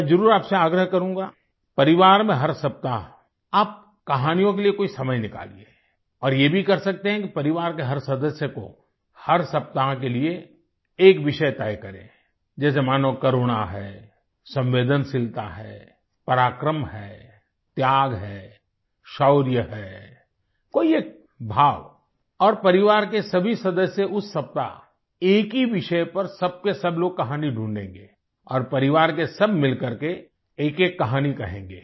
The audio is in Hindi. मैं ज़रूर आपसे आग्रह करूँगा परिवार में हर सप्ताह आप कहानियों के लिए कुछ समय निकालिए और ये भी कर सकते हैं कि परिवार के हर सदस्य को हर सप्ताह के लिए एक विषय तय करें जैसे मान लो करुणा है संवेदनशीलता है पराक्रम है त्याग है शौर्य है कोई एक भाव और परिवार के सभी सदस्य उस सप्ताह एक ही विषय पर सब के सब लोग कहानी ढूँढेंगे और परिवार के सब मिल करके एकएक कहानी कहेंगे